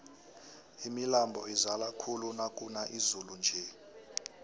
imilambo izala khulu nakuna izulu nje